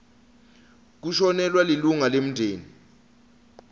kushonelwa lilunga lemndeni